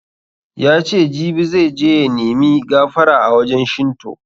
Yace jibi zai je ya nimi gafara a wajen Shinto